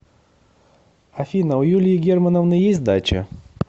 афина у юлии германовны есть дача